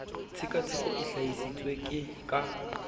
tshekatsheko e hlahi sitswe ka